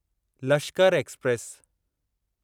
Lashkar express